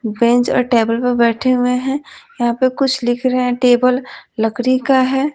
Bench और table पर बैठे हुए हैं यहां पे कुछ लिख रहे हैं टेबल लकड़ी का है।